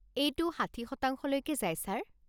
এইটো ষাঠি শতাংলৈকে যায় ছাৰ।